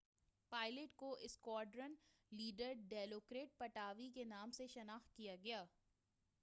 pilot کو squadron leader ڈیلوکرٹ پٹاوی کے نام سے شناخت کیا گیا